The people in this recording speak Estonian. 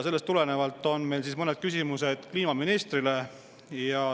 Sellest tulenevalt on meil mõned küsimused kliimaministrile.